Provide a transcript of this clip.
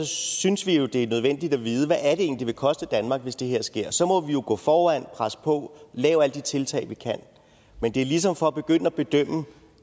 synes vi jo det er nødvendigt at vide hvad er det egentlig det vil koste danmark hvis det her sker så vi må jo gå foran presse på lave alle de tiltag vi kan men det er ligesom for at begynde at bedømme